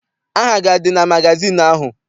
Aha gị adị na magazịịnụ ahụ?